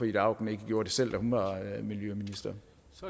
ida auken ikke gjorde det selv da hun var miljøminister